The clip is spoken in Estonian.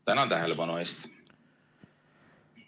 Tänan tähelepanu eest!